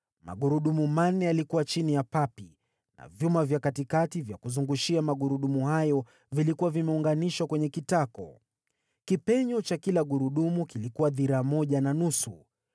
Magurudumu manne yalikuwa chini ya papi, na vyuma vya katikati vya kuzungushia magurudumu hayo vilikuwa vimeunganishwa kwenye kitako. Kipenyo cha kila gurudumu kilikuwa dhiraa moja na nusu.